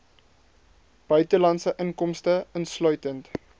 buitelandse inkomste insluitend